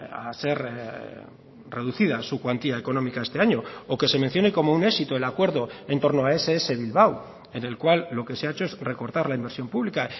a ser reducida su cuantía económica este año o que se mencione como un éxito el acuerdo en torno a ess bilbao en el cual lo que se ha hecho es recortar la inversión pública